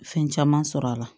Fɛn caman sɔrɔ a la